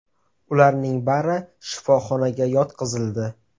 Ularning bari shifoxonaga yotqizildi.